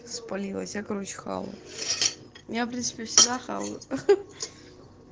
спалилась я короче хавала я в принципе всегда хаваю